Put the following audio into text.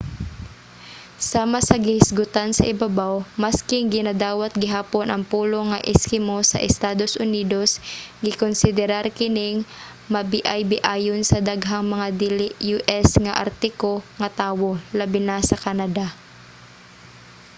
sama sa gihisgotan sa ibabaw masking ginadawat gihapon ang pulong nga eskimo sa estados unidos gikonsiderar kining mabiaybiayon sa daghang mga dili u.s. nga artiko nga tawo labi na sa canada